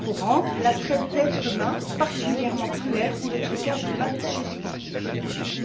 courante, la traite d'êtres humains, particulièrement cruelle, ou le trucage des matches sportifs.